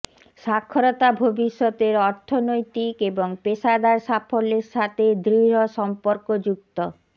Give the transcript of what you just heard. সাক্ষরতা ভবিষ্যতের অর্থনৈতিক এবং পেশাদার সাফল্যের সাথে দৃঢ় সম্পর্কযুক্ত